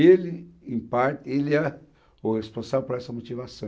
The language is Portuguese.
Ele, em parte, ele era o responsável por essa motivação.